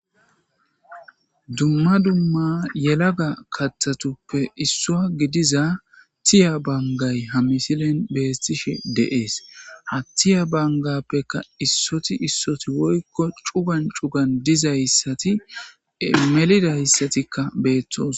dumma dumma yelaga kathatuppe issua gidiza tiya bangay ha misilen beettishe deees ha tiya bangappeka issoti issoti woykko cugan cugan dizayssati melidayssatikka beethtos